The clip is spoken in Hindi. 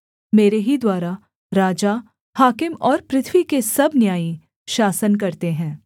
मेरे ही द्वारा राजा हाकिम और पृथ्वी के सब न्यायी शासन करते हैं